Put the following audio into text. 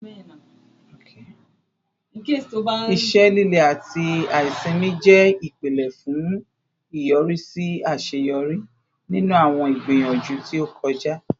Ise lile ati aisimi jẹ ipilẹ fun iyọrisi aṣeyọri ninu awọn igbiyanju ti o kọja